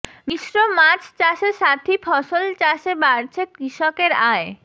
মিশ্র মাছ চাষে সাথী ফসল চাষে বাড়ছে কৃষকের আয়